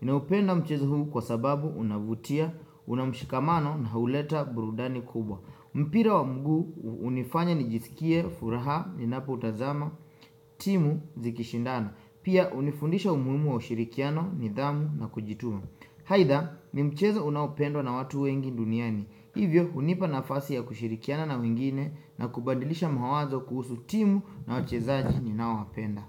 Ninaupenda mchezo huu kwa sababu unavutia, una mshikamano na huleta burudani kubwa. Mpira wa mguu hunifanya nijisikie, furaha, ninapoutazama, timu, zikishindana. Pia hunifundisha umuhimu wa ushirikiano, nidhamu na kujituma. Aida, ni mchezo unaopendwa na watu wengi duniani. Hivyo, hunipa nafasi ya kushirikiana na wengine na kubadilisha mawazo kuhusu timu na wachezaji ninaowapenda.